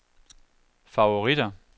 favoritter